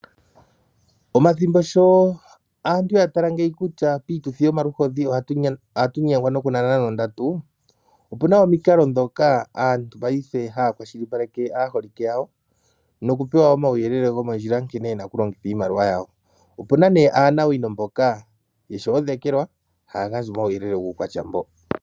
Omathimbo sho aantu ya mono kutya piituthi yomaluhodhi ohatu nyengwa nokunana nondatu, opu na omikalo ndhoka aantu paife haya kwashilipaleke aaholike yawo nokupewa omauyelele gomondjila nkene ye na okulongitha iimaliwa yawo. Opu na nduno aanawino mboka ye shi odhekelwa haya gandja omauyelele guukwatya mboka.